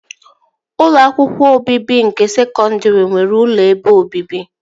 Ụlọ akwụkwọ obibi nke sekọndri nwere ụlọ ebe obibi